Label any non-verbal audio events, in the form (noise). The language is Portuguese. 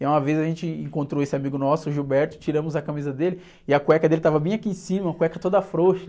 E aí, uma vez a gente encontrou esse amigo nosso, o, (unintelligible) tiramos a camisa dele e a cueca dele estava bem aqui em cima, uma cueca toda frouxa.